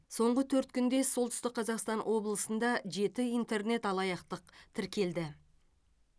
соңғы төрт күнде солтүстік қазақстан облысында жеті интернет алаяқтық тіркелді